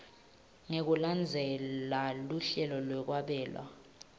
ngekulandzela luhlelo lwekwabela